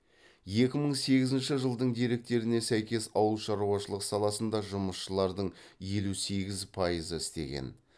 екі мың сегізінші жылдың деректеріне сәйкес ауыл шаруашылық саласында жұмысшылардың елу сегіз пайызы істеген